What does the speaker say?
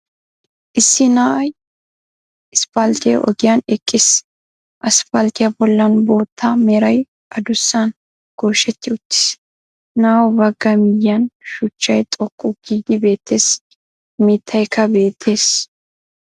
Issi na'ay isppalttee ogiyan eqqiis. Asappalttiya bollan bootta meray addussan gooshshetti uttiis. Naa"u baga miyiyan shuchchay xoqqu giidi beettees, mittaykka beettees.